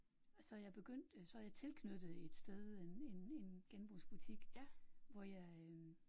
Så er jeg begyndt så er jeg tilknyttet et sted en en en genbrugsbutik hvor jeg